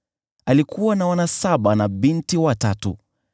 Alikuwa na wana saba na binti watatu,